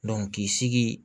k'i sigi